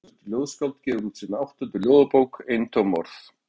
Sextugt ljóðskáld gefur út sína áttundu ljóðabók, Eintóm orð.